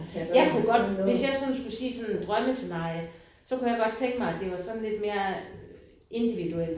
Jeg kunne godt hvis jeg sådan skulle sige sådan drømmescenarie så kunne jeg godt tænke mig at det var sådan lidt mere individuelt